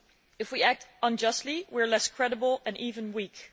If we act unjustly, we are less credible and even weak.